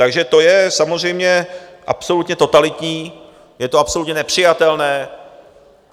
Takže to je samozřejmě absolutně totalitní, je to absolutně nepřijatelné.